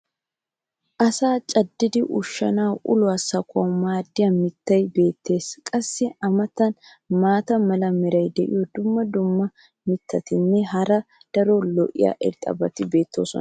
asaa caddidi ushshanawunne uluwa sakkuwaassi maadiya mitay beetees. qassi a matan maata mala meray diyo dumma dumma mitatinne hara daro lo'iya irxxabati beetoosona.